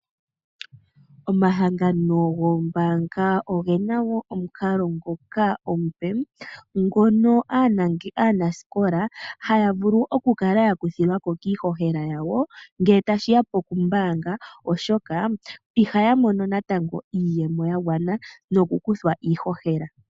Omahangano goombaanga ogena wo omukalo ngoka omupe, ngono aanasikola haya vulu okukala yaluthilwako kiihohela yawo ngele tashiya pokumbaanga oshoka ihaya mono natango iiyemo yagwana nokukuthwa iihohela.